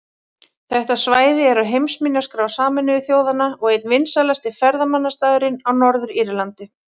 Þetta svæði er á heimsminjaskrá Sameinuðu þjóðanna og einn vinsælasti ferðamannastaðurinn á Norður-Írlandi.